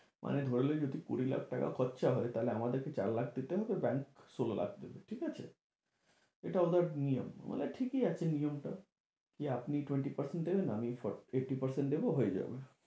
মানে ধরলি যদি কুঁড়ি লাখ টাকা খরচা হয় তাহলে আমাদেরকে চার লাখ দিতে হবে bank ষোল লাখ দেবে ঠিক আছে? এটা ওদের নিয়ম, মানে ঠিকই আছে নিয়মটা। কি আপনি twenty percent দেবেন, আমি fot~ eighty percent দেব, হয়ে যাবে।